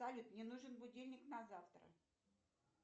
салют мне нужен будильник на завтра